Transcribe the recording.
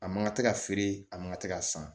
A man kan ka tɛ ka feere a man ka tɛ ka san